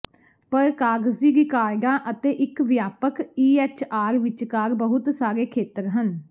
ਪਰ ਕਾਗਜ਼ੀ ਰਿਕਾਰਡਾਂ ਅਤੇ ਇਕ ਵਿਆਪਕ ਈਐਚਆਰ ਵਿਚਕਾਰ ਬਹੁਤ ਸਾਰੇ ਖੇਤਰ ਹਨ